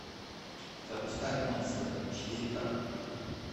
запускай монстр четыре ка